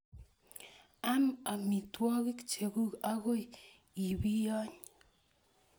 Am amitwogik chekuk agoi I piyony